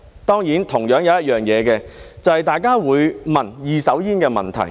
當然，還有一點，就是大家會問二手煙的問題。